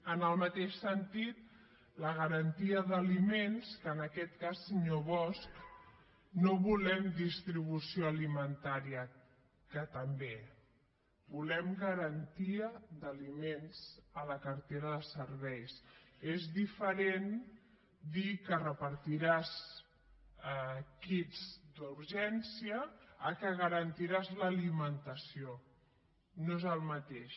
en el mateix sentit la garantia d’aliments que en aquest cas senyor bosch no volem distribució alimentària que també volem garantia d’aliments a la cartera de serveis és diferent dir que repartiràs kits d’urgència que que garantiràs l’alimentació no és el mateix